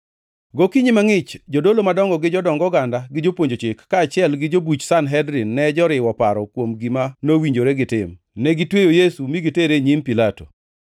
Gokinyi mangʼich, jodolo madongo gi jodong oganda gi jopuonj Chik, kaachiel gi jobuch Sanhedrin ne joriwo paro kuom gima nowinjore gitim. Negitweyo Yesu mi gitere e nyim Pilato.